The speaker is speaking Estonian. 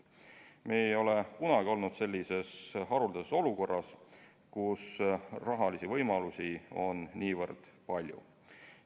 Me ei ole kunagi olnud sellises haruldases olukorras, kus rahalisi võimalusi on niivõrd palju.